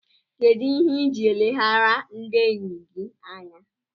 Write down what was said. Kedụ ihe iji eleghara ndị enyi gị anya?